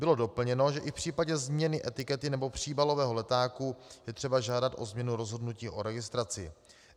Bylo doplněno, že i v případě změny etikety nebo příbalového letáku je třeba žádat o změnu rozhodnutí o registraci.